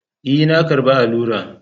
E,, na karɓa allura.